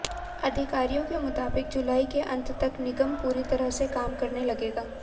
अधिकारियों के मुताबिक जुलाई के अंत तक निगम पूरी तरह से काम करने लगेगा